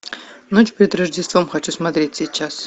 ночь перед рождеством хочу смотреть сейчас